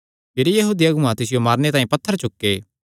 भिरी यहूदी अगुआं तिसियो मारने तांई पत्थर चुके